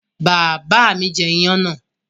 Bàbá mi jẹ iyán náà?